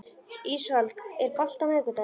Ísold, er bolti á miðvikudaginn?